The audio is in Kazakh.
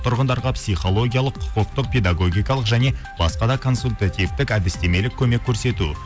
тұрғындарға психологиялық құқықтық педагогикалық және басқа да консультативтік әдістемелік көмек көрсету